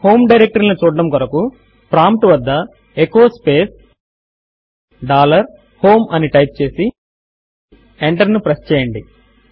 home directory లను చూడడము కొరకు ప్రాంప్ట్ వద్ద ఎచో స్పేస్ డాలర్ హోమ్ అని టైప్ చేసి ఎంటర్ ను ప్రెస్ చేయండి